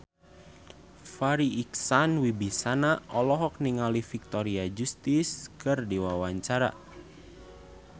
Farri Icksan Wibisana olohok ningali Victoria Justice keur diwawancara